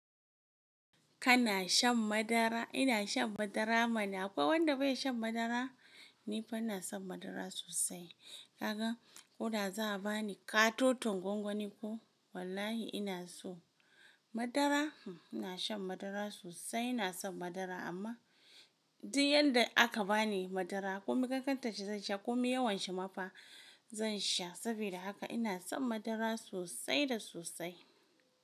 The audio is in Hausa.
Kana shan madara? Ina shan madara mana. Akwai wanda bai shan madara? Ni fa ina son madara sosai. Kaga, ko da za a ba ni katoton gwangwani ko, wallahi ina so. Madara, ina shan madara sosai, ina son madara amma duk yanda aka bani madara, ko mi kankanta shi zan sha ko mi yawan shi ma fa zan sha. Saboda haka ina son madara sosai da sosai.